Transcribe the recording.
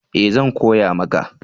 Ee! zan koya maka